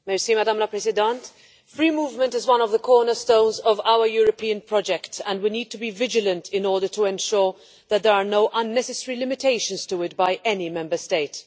Madam President, free movement is one of the cornerstones of our European project and we need to be vigilant in order to ensure that there are no unnecessary limitations to it by any Member State.